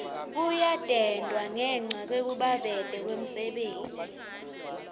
kuyadendwa ngenca yekubabete kwemisebenti